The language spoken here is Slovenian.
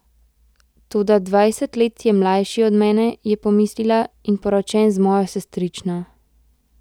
Toda dvajset let je mlajši od mene, je pomislila, in poročen z mojo sestrično.